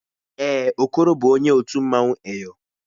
Èè, Okoro bụ onye otu mmanwụ Eyọ.